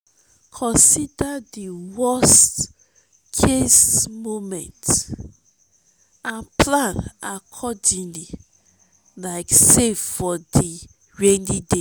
consider di worst-case moment and plan accordingly like save for di rainy day.